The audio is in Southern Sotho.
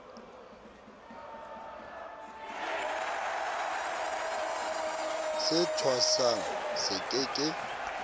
se thwasang se ke ke